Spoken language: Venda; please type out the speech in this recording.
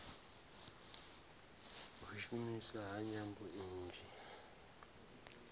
u shumiswa ha nyambo nnzhi